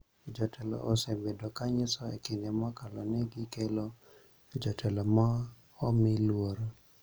Jotelo osebedo ka nyiso e kinde mokalo ni gikelo jotelo ma omi luor